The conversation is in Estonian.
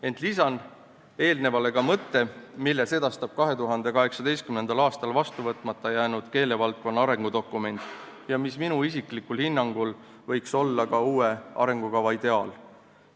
Ent lisan eelnevale ka mõtte, mille sedastab 2018. aastal vastu võtmata jäänud keelevaldkonna arengudokument ja mis minu isiklikul hinnangul võiks olla ka uue arengukava ideaal.